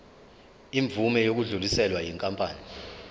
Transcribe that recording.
imvume yokudluliselwa yinkampani